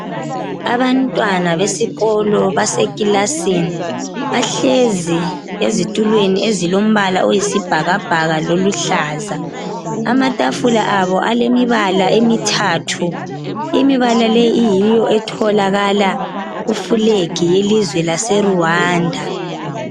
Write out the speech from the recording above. Abantwana besikolo baseclassini bahlezi ezitulweni ezilombala oyisibhakabhaka loluhlaza amatafula abo alemibala emithathu imibala leyi kuyiyo etholakala kuflag yelizwe lwaseRwanda